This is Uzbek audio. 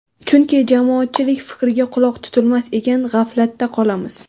Chunki jamoatchilik fikriga quloq tutilmas ekan, g‘aflatda qolamiz.